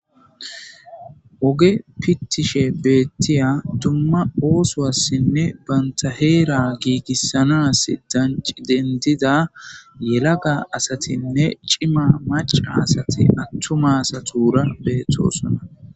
Woge pittishe beettiya dumma oosoassinne bantaheera giigissanas danci dendida yelaga asatinne cima maca asati attumasa tuura beettosona.